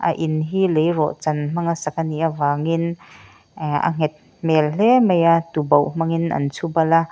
a in hi lei rawhchan hmanga sak anih avangin ehh a nghet hmel hle maia tubauh hmangin an chhubal a--